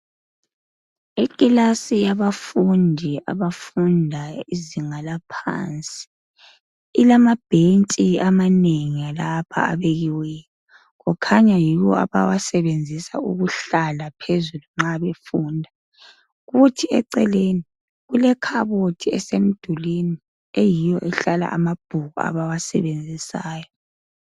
Ikilasi yabafundi abafunda izinga laphansi ilamabhentshi amanengi lapha abekiweyo kukhanya yiwo abawasebenzisa ukuhlala phezulu nxa befunda, kuthi eceleni kule khabothi esemdulwini eyiyo ehlala amabhuku abawasebenzisayo.